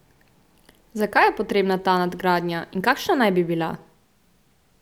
Zakaj je potrebna ta nadgradnja in kakšna naj bi bila?